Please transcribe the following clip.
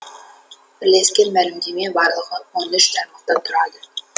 бірлескен мәлімдеме барлығы он үш тармақтан тұрады